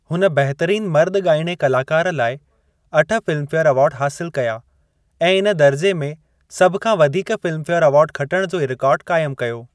हुन बहितरीन मर्दु ॻाइणे कलाकार लाइ अठ फ़िल्मफेयर अवार्ड हासिलु कया ऐं इन दर्जे में सभ खां वधीक फ़िल्मफेयर अवार्ड खटण जो रिकॉर्डु क़ायमु कयो।